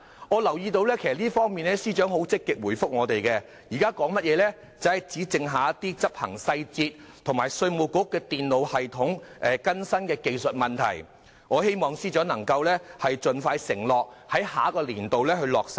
我留意到司長在這方面積極回應我們，表示只剩下一些執行細節及稅務局電腦系統更新的技術問題，我希望司長盡快承諾在下一個年度落實計劃。